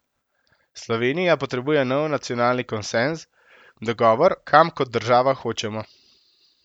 Slovenija potrebuje nov nacionalni konsenz, dogovor, kam kot država hočemo.